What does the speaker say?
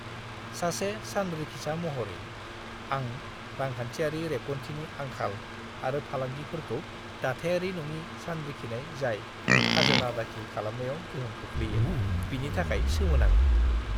सासे सानरिखिसा महरै, आं रांखान्थियारि रेबगान्थिनि आंखाल आरो फालांगिफोरजों दाथायारि नङि सानरिखिनाय जाय खाजोना दाखिल खालामनायाव गोहोम खोख्लैयो, बिनि थाखाय सोमोनाङो।